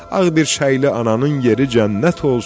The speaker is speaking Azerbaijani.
Ağ birçəkli ananın yeri cənnət olsun.